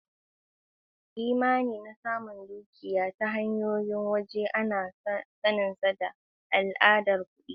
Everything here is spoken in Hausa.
Imani na samun dukiya ta hanyoyin waje ana saninsa da al'adar kuɗi.